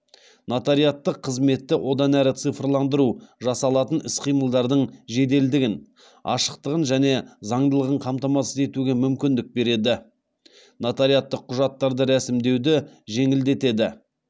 нотариаттық қызметті одан әрі циярландыру жасалатын іс қимылдардың жеделдігін ашықтығын және заңдылығын қамтамасыз етуге мүмкіндік береді нотариаттық құжаттарды ресімдеуді жеңілдетеді